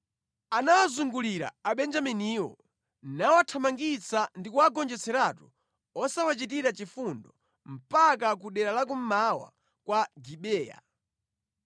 Anawazungulira Abenjaminiwo, nawathamangitsa ndi kuwagonjetseratu osawachitira chifundo mpaka ku dera la kummawa kwa Gibeya.